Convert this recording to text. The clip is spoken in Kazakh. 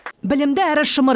білімді әрі шымыр